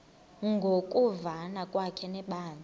ngokuvana kwakhe nebandla